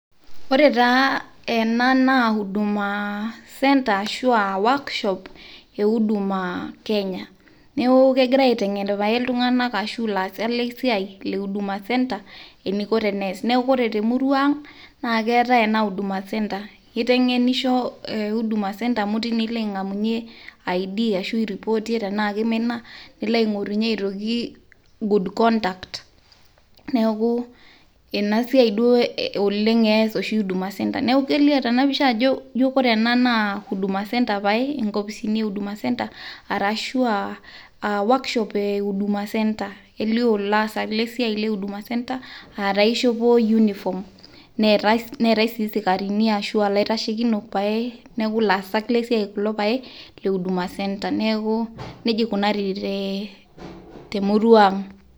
Ore taa ena naa huduma centre ashu workshop e huduma Kenya neaku kegirai aitengen pae iltunganak ashu laasak le siai le huduma centre eneiko teneas esia. Neaku ore temurua ang naa keetae ena huduma center. Keiteng'enisho ena huduma centre amu teine ilo ang'amunye ID ashu aireportie tenaa keimina nilo ang'orunye aitoki Good conduct. Neaku ena siai eas oleng Huduma center. Neaku kelio tena picha ijo kore ena naa Huduma center pae inkopisini e huduma center, arashu aa workshop e huduma center. Elio ilaasak le siai le Huduma center aataa eishopo uniform. Neatai sii isikarini ashua laitashekinok pae, neaku ilaasak le siai pae le Huduma center. Neaku neija eikunari te murua ang.